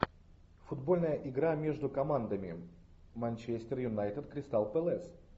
футбольная игра между командами манчестер юнайтед кристал пэлас